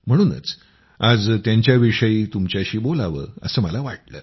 म्हणूनच आज त्यांच्याविषयी तुमच्याशी बोलावं असं मला वाटलं